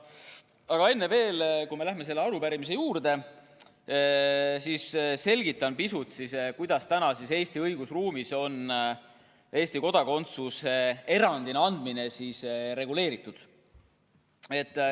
Aga enne, kui me selle arupärimise juurde läheme, selgitan pisut, kuidas praegu on Eesti õigusruumis Eesti kodakondsuse erandkorras andmine reguleeritud.